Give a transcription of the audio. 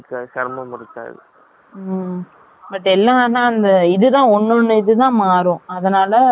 ம், but எல்லாம், ஆனா, அந்த, இதுதான், உன்னோட இதுதான் மாறும். அதனால, அவ்வளவு பிரச்சனை இருக்காதுங்கிறீங்க